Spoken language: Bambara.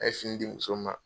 A ye fini di muso ma.